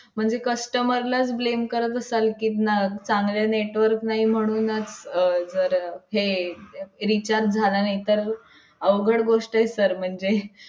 market मध्ये तुम्हाला देतोत तुम्ही market मध्ये लावा तुम्ही road वरती लावा संध्याकाळी मला तुम्ही पाचशे रुपये द्या मग बचत गटाच्या बचत गटाला भीम महिला नाव देऊ